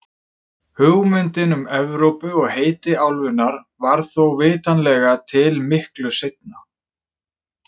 Hugmyndin um Evrópu og heiti álfunnar varð þó vitanlega til miklu seinna.